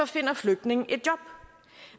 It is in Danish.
finder flygtninge et job